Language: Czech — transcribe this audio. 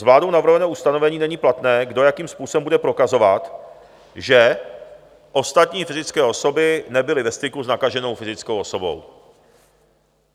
Z vládou navrhovaného ustanovení není platné, kdo jakým způsobem bude prokazovat, že ostatní fyzické osoby nebyly ve styku s nakaženou fyzickou osobou.